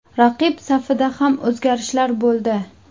Raqib safida ham o‘zgarishlar bo‘ldi.